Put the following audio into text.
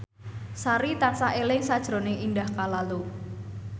Sari tansah eling sakjroning Indah Kalalo